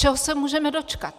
Čeho se můžeme dočkat?